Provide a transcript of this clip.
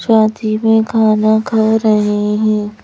साथ ही में खाना खा रहे हैं।